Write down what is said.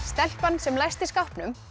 stelpan sem læsti skápnum